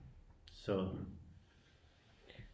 Så